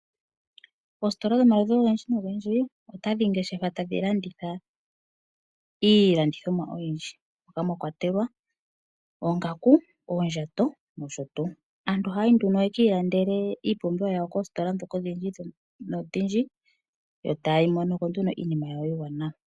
Oositola dhomaludhi ogendji otadhi ngeshefa iilandithomwa oyindji, mwakwatelwa oongaku, oondjato noshotuu. Aantu ohaya yi nduno yeki ilandele iipumbiwa yawo koositola ndhoka yotaya monoko nduno iinima yawo iiwanawa.